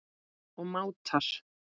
og mátar.